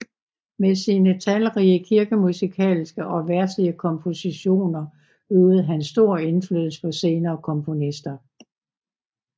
Med sine talrige kirkemusikalske og verdslige kompositioner øvede han stor indflydelse på senere komponister